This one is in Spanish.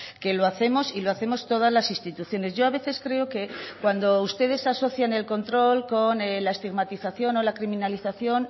que lo hacemos y lo hacemos todas las instituciones yo a veces creo que cuando ustedes asocian el control con la estigmatización o la criminalización